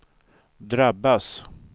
drabbas